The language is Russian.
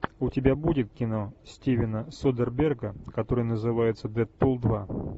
у тебя будет кино стивена содерберга которое называется дэдпул два